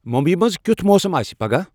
ممبیِہ منز کِیُتھ موسم آسِہ پگہہ ؟